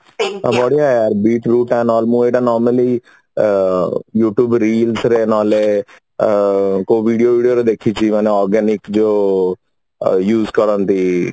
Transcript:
ଆଉ ବଢିଆ normally youtube Real ର ନହଲେ ଅ କୋଇ video ଫିଡିଓ ରୁ ଦେଖିଛୁ ମାନେ organic ଯୋଉ use କରନ୍ତି